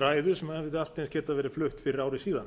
ræðu sem hefði allt eins getað verið flutt fyrir ári síðan